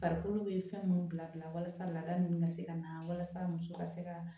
Farikolo bɛ fɛn minnu bila bila bila walasa laada ninnu ka se ka na walasa muso ka se ka